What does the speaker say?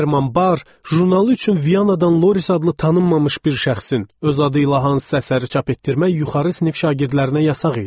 Herman Bar jurnalü üçün Vyanadan Loris adlı tanınmamış bir şəxsin öz adı ilə hansısa əsəri çap etdirmək yuxarı sinif şagirdlərinə yasaq idi.